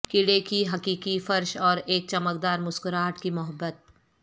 کیڑے کی حقیقی فرش اور ایک چمکدار مسکراہٹ کی محبت